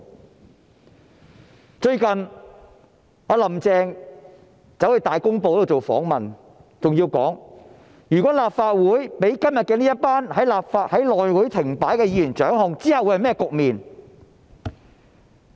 "林鄭"最近接受《大公報》訪問時說，如果立法會被今天這群導致內務委員會停擺的議員掌控，日後會是甚麼局面？